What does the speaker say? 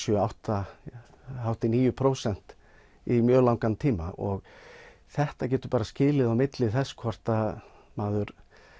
sjö átta hátt í níu prósent í mjög langan tíma þetta getur bara skilið á milli þess hvort að maður